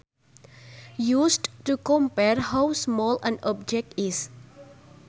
Used to compare how small an object is